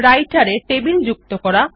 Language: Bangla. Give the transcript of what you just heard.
রাইটের এ টেবিল যুক্ত করা